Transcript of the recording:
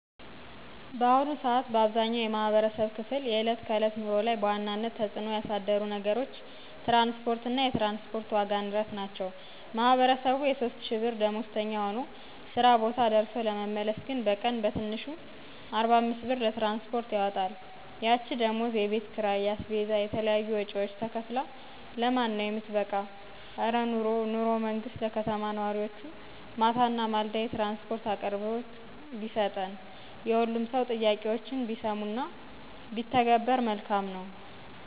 በአሁኑ ሰአት በአብዛኛው የማህበረሰብ ክፍል የእለት ከዕለት ኑሮ ላይ በዋናነት ተፅእኖ ያሳደሩ ነገሮች ትራንስፖርት እና የትራንስፖርት ዋጋ ንረት ናቸው። ማህቀረሰቡ የ3000ብር ደመዎዝተኛ ሆኖ ስራ ቦታ ደርሶ ለመመለስ ግን በቀን በትንሹ 45ብር ለትራንስፖርት ያወጣል። ያች ደሞዝ የቤትኪራይ, የአስቤዛ, የተለያዩ ወጭዎች , ተከፍላ ለማን ነው የምትበቃ?? እረ ኑሮ ኑሮ መንግስት ለከተማ ነዋሪዎቹ ማታ እና ማለዳ የትራንስፖርት አቅርቦት ቢሠጠን።????!!! የሁሉም ሰው ጥያቄዎች ቢሰሙ እና ቢተገበር መልካም ነው